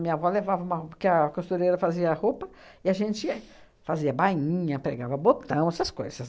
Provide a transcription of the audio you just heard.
Minha avó levava uma ro, porque a costureira fazia a roupa, e a gente fazia bainha, pregava botão, essas coisas.